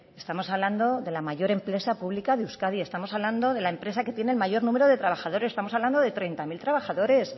estamos hablando de la mayor empresa pública de euskadi estamos hablando de la empresa que tiene el mayor número de trabajadores estamos hablando de treinta mil trabajadores